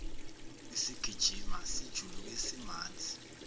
isigijimi sijuluke simanzi